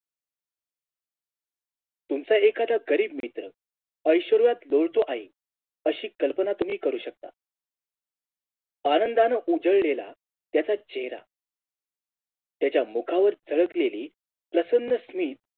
तुमचा एखादा गरीब मित्र ऐश्वर्यात लोळतो आहे अशी कल्पना तुम्ही करू शकता आनंदानं उजळलेला त्याचा चेहरा त्याच्या मुखावर झळकलेली प्रसंन्नस्वी